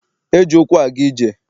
E ji ụkwụ aga ije.